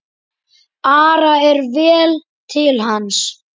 Ara er vel til hans.